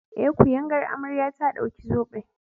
Eh, kuyangar amarya ta ɗauki zoben.